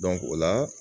o la